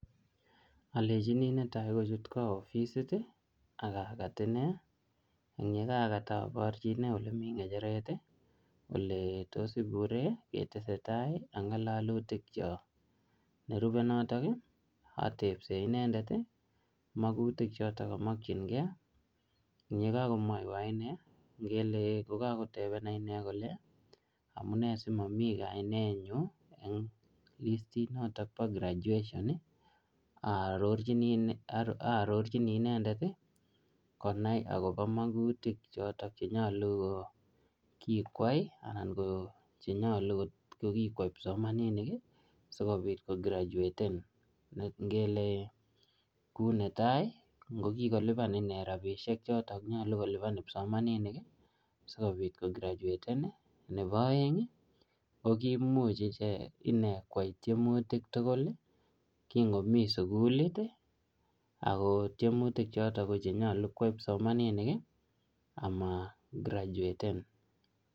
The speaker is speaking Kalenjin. Alejini netai kochut kwoo ofisit, akakat inee. Ing yeyekat aborchi inee ole mii ngecheret, ole tos iburee ketesetai ak ngalalutik chok. Nerubey notok, atepsee inendet, magutik chotok kamakchinkey. Eng yekakomwoywo inee, ngele kokakotebena inee kole, amunee simomii kainet nyu eng listit notok po graduation, arorchini inendet, konai akobo magutik chotok che nyolu ko kikwai, anan ko che nyolu kot kokikwai kipsomaninik sikonyolu kograduaten. Ngele ku netai, ngo kikolipan inee rabisiek chotok nyolu kolipan kipsomaninik, sikobit kograduaten. Nebo aeng, ko kimuch iche inee kwai tiemutik tugul ki ngomii sukulit. Ako tiemutik chotok ko chenyolu kwai kipsomaninik amagraduaten